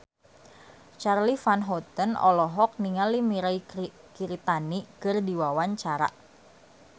Charly Van Houten olohok ningali Mirei Kiritani keur diwawancara